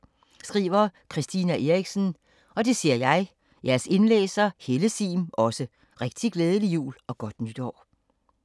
Christina Eriksen